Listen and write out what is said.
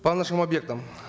по нашим объектам